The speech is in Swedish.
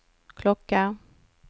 klocka